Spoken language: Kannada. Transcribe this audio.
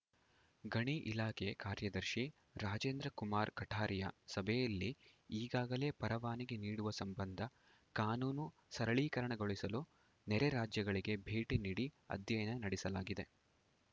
ಗಣಿ ಇಲಾಖೆ ಕಾರ್ಯದರ್ಶಿ ರಾಜೇಂದ್ರ ಕುಮಾರ್‌ ಕಠಾರಿಯಾ ಸಭೆಯಲ್ಲಿ ಈಗಾಗಲೇ ಪರವಾನಿಗೆ ನೀಡುವ ಸಂಬಂಧ ಕಾನೂನು ಸರಳೀಕರಣಗೊಳಿಸಲು ನೆರೆ ರಾಜ್ಯಗಳಿಗೆ ಭೇಟಿ ನೀಡಿ ಅಧ್ಯಯನ ನಡೆಸಲಾಗಿದೆ